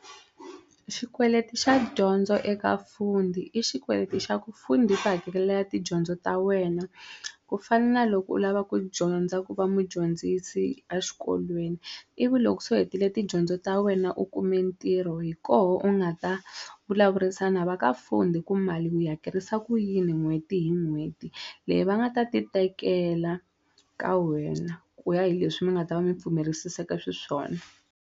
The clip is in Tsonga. Xikweleti xa dyondzo eka Fundi i xikweleti xa ku Fundi yi ku hakelela tidyondzo ta wena ku fana na loko u lava ku dyondza ku va mudyondzisi a xikolweni ivi loko se u hetile tidyondzo ta wena u kume ntirho hi koho u nga ta vulavurisana va ka Fundi ku mali u yi hakerisa ku yini n'hweti hi n'hweti leyi va nga ta ti tekela ka wena ku ya hi leswi mi nga ta va mi pfumerisiseke swi swona.